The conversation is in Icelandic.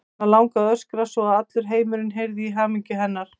Og hana langaði að öskra svo að allur heimurinn heyrði í hamingju hennar.